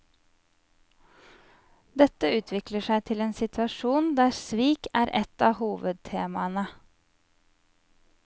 Dette utvikler seg til en situasjon der svik er et av hovedtemaene.